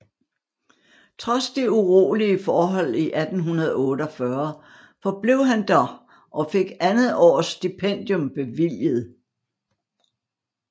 Trods de urolige forhold i 1848 forblev han der og fik andet års stipendium bevilget